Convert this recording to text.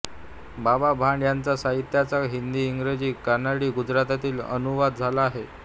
बाबा भांड यांच्या साहित्याचा हिंदी इंग्रजी कानडी गुजरातीत अनुवाद झाला आहे